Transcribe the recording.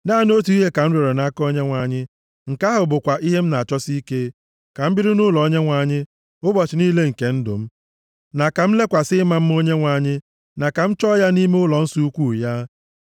Naanị otu ihe ka m rịọrọ nʼaka Onyenwe anyị, nke ahụ bụkwa ihe m na-achọsi ike; ka m biri nʼụlọ Onyenwe anyị ụbọchị niile nke ndụ m, na ka m lekwasị ịma mma Onyenwe anyị, na ka m chọọ ya nʼime ụlọnsọ ukwuu ya.